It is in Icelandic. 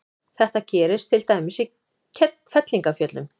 Þetta gerist til dæmis í fellingafjöllum.